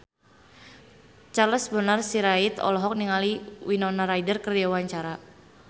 Charles Bonar Sirait olohok ningali Winona Ryder keur diwawancara